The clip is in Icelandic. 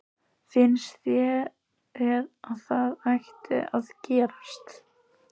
Finnst þér að það ætti að gerast?